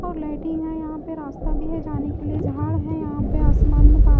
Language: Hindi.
और लाइटिंग है यहां पर रास्ता भी है जाने के लिए झाड़ है यहां पे आसमान में--